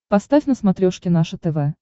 поставь на смотрешке наше тв